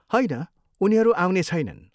होइन, उनीहरू आउने छैनन्।